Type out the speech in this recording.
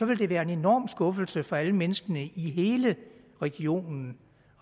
vil det være en enorm skuffelse for alle menneskene i hele regionen